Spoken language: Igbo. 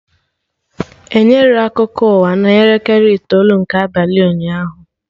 Enyerọ akụkọ ụwa na elekere itoolu nke abalị ụnyaahụ